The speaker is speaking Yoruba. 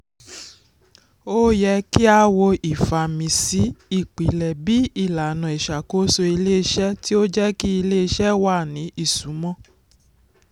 ó yẹ kí a wo ìfàmìsí ipilẹ̀ bí ìlànà ìṣàkóso ilé-iṣẹ́ tí ó jẹ́ kí ilé-iṣẹ́ wà ní ìsúnmọ́.